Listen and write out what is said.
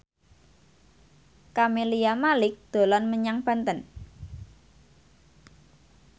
Camelia Malik dolan menyang Banten